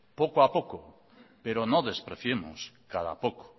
poco a poco pero no despreciemos cada poco